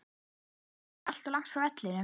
Eru áhorfendur allt of langt frá vellinum?